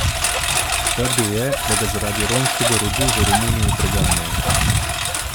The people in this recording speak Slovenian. Trdil je, da ga zaradi romskega rodu v Romuniji preganjajo.